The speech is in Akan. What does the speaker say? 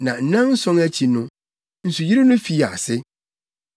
Na nnanson no akyi no, nsuyiri no fii ase.